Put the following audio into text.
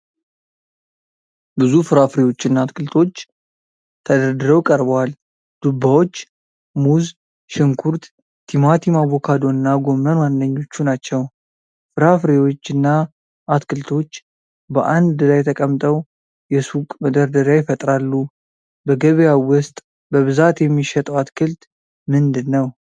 ብዙ ፍራፍሬዎችና አትክልቶች ተደርድረው ቀርበዋል። ዱባዎች፣ ሙዝ፣ ሽንኩርት፣ ቲማቲም፣ አቮካዶ እና ጎመን ዋነኞቹ ናቸው። ፍራፍሬዎችና አትክልቶች በአንድ ላይ ተቀምጠው የሱቅ መደርደሪያ ይፈጥራሉ። በገበያው ውስጥ በብዛት የሚሸጠው አትክልት ምንድን ነው?